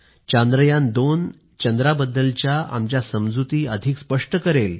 चांद्रयान2 चंद्राबद्दलच्या आमच्या समजुती अधिक स्पष्ट करेल